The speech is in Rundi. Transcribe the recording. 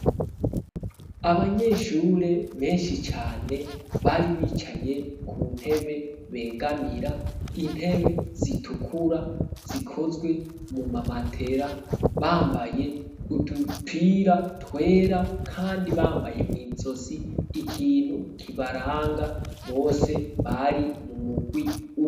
Abanyeshure benshi cane, bari bicaye ku ntebe begamira, intebe zitukura zikozwe mu mamatera bambaye udupira twera kandi bambaye mw'izosi ikintu kibaranga bose bari mu mugwi umwe.